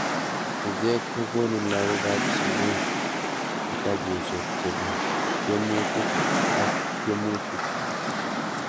ichek kogoni lagookab sugul kitabushek chebo tyemutik ak tyemutik